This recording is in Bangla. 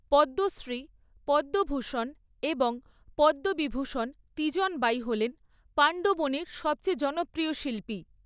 পদ্মশ্রী, পদ্মভূষণ এবং পদ্মবিভূষণ তিজন বাই হলেন পাণ্ডবনীর সবচেয়ে জনপ্রিয় শিল্পী।